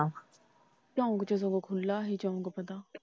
ਝੰਗ ਚ ਜਗਹ ਖੁੱਲ੍ਹਾ ਸੀ।